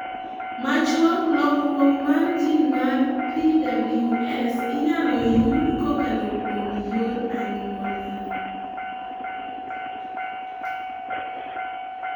Machuok, lokruok mar gene mar PWS inyalo yud kokalo kuom yor anyula